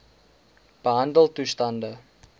behandeltoestande